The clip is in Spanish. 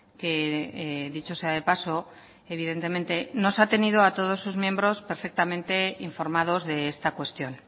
que dicho sea de paso evidentemente nos ha tenido a todos sus miembros perfectamente informados de esta cuestión